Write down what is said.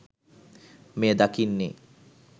මෙය දකින්නේ